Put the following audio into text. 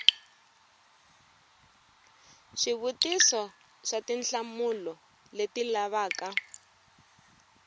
swivutiso swa tinhlamulo leti lavaka